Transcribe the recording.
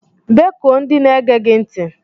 Bekue ndị na-ege gị ntị!!